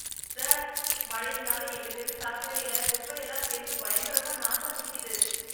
Sir! மழையினால எங்க தெரு சாக்கடையில குப்பை எல்லாம் சேந்து பயங்கரமா நாத்தம் அடிக்குது